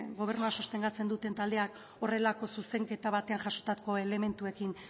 gobernua sostengatzen duten taldeak horrelako zuzenketa batean jasotako elementuekin